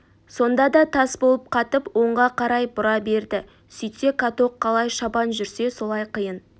сонда да тас болып қатып оңға қарай бұра берді сөйтсе каток қалай шабан жүрсе солай қиын